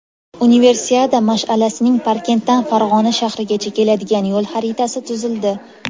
Universiada mash’alasining Parkentdan Farg‘ona shahrigacha keladigan yo‘l xaritasi tuzildi.